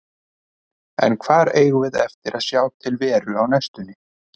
En hvar eigum við eftir að sjá til Veru á næstunni?